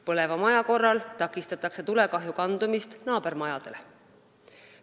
Põleva maja korral takistatakse tulekahju kandumist naabermajadele.